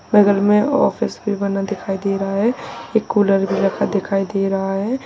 बगल में ऑफिस भी बना दिखाई दे रहा है एक कुलर भी रखा दिखाई दे रहा है।